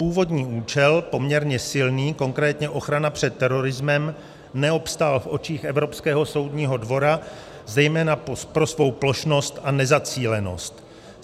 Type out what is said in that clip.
Původní účel, poměrně silný, konkrétně ochrana před terorismem, neobstál v očích Evropského soudního dvora zejména pro svou plošnost a nezacílenost.